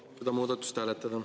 Palun seda muudatust hääletada.